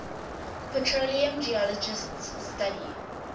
petroleum geologists study